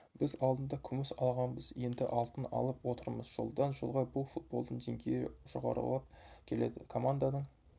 біз алдында күміс алғанбыз енді алтын алып отырмыз жылдан жылға бұл футболдың деңгейі жоғарылап келеді команданың